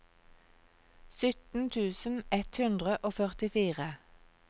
sytten tusen ett hundre og førtifire